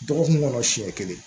Dɔgɔkun kɔnɔ siɲɛ kelen